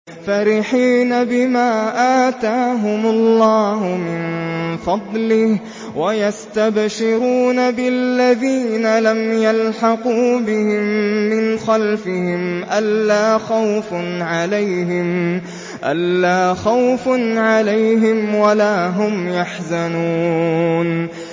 فَرِحِينَ بِمَا آتَاهُمُ اللَّهُ مِن فَضْلِهِ وَيَسْتَبْشِرُونَ بِالَّذِينَ لَمْ يَلْحَقُوا بِهِم مِّنْ خَلْفِهِمْ أَلَّا خَوْفٌ عَلَيْهِمْ وَلَا هُمْ يَحْزَنُونَ